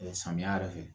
Samiya yɛrɛ fɛ